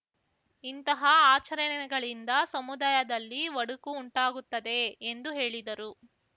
ಇಂಥಹ ಆಚರಣೆಗಳಿಂದ ಸಮುದಾಯದಲ್ಲಿ ಒಡಕು ಉಂಟಾಗುತ್ತದೆ ಎಂದು ಹೇಳಿದರು